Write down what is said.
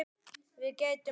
Við gætum okkar.